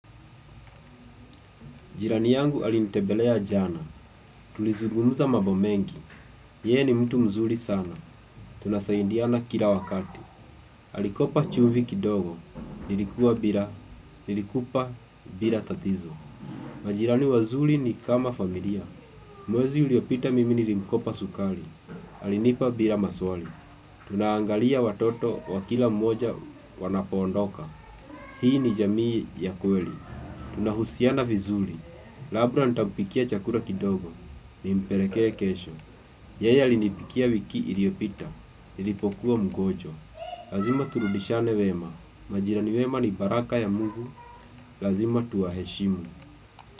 Jirani yangu alintembelea jana. Tulizugumuza mambo mengi. Yeye ni mtu mzuri sana. Tunasaidiana kila wakati. Alikopa chumvi kidogo. Nilikuwa bila. Nilikupa bila tatizo. Majirani wazuli ni kama familia. Mwezi uliopita mimi nilimkopa sukari. Alinipa bila maswali. Tunaangalia watoto wakila mmoja wanapaondoka. Hii ni jamii ya kweli. Tunahusiana vizuri Labda nitampikia chakula kidogo Nimpelekee kesho Yeye alinipikia wiki iliopita NIlipokuwa mgojwa Lazima turudishiane wema Majirani wema ni baraka ya mungu Lazima tuwa heshimu.